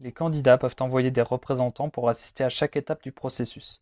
les candidats peuvent envoyer des représentants pour assister à chaque étape du processus